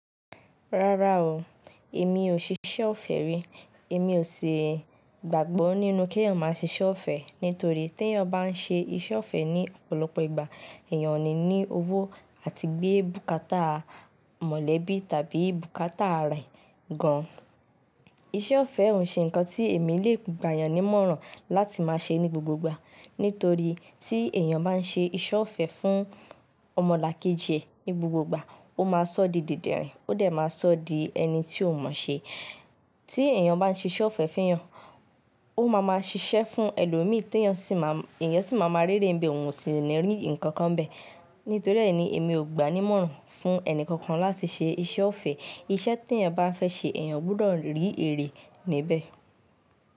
Rárá o, èmi ò ṣe iṣẹ́ ọ̀fẹ́ rí. Èmi ò si gbàgbọ́ nínú kí èèyàn máa ṣe iṣẹ́ ọ̀fẹ́ nítorí tí èèyàn bá ń ṣe iṣẹ́ ọ̀fẹ́ ní ọ̀pọ̀lọpọ̀ ìgbà, èèyàn ò ní ní owó àti gbé bùkátà mọ̀lẹ́bí tàbí bùkátà rẹ̀ gan. Iṣẹ́ ọ̀fẹ́ ò ṣe nǹkan tí èmi lè gbà'yan ni imọ̀ràn láti máa ṣe ní gbogbo ìgbà nítorí tí èèyàn bá ń ṣe iṣẹ́ ọ̀fẹ́ fún ọmọlàkejì ẹ̀ ní gbogbo ìgbà, ó máa sọ di didẹ́rìn, ó dẹ̀ máa sọ di ẹni tí ò mọ ṣe. Tí èèyàn bá ń ṣe iṣẹ́ ọ̀fẹ́ fún èèyàn, ó máa ma ṣiṣẹ́ fún ẹlòmíì tí èèyàn sì máa ma ri ere n bẹ òun sì ni rí ǹkan kan bẹ́ẹ̀. Nítorí èèyí ni èmi ò gbànímọ̀ràn fún ẹni kankan láti ṣe iṣẹ́ ọ̀fẹ́. Iṣẹ́ tí èèyàn bá fẹ́ ṣe èèyàn gbọdọ̀ rí èrè níbẹ̀.